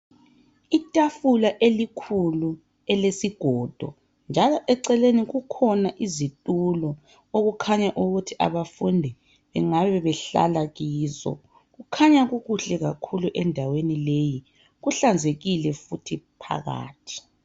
Itafula elikhulu elesigodo njalo eceleni kukhona izitulo okukhanya ukuthi abafundi bengabe behlala kizo. kukhanya kukuhle kakhulu endaweni leyi. Kuhlanzekile futhi phakathi .